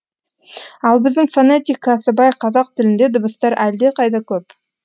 ал біздің фонетикасы бай қазақ тілінде дыбыстар әлдеқайда көп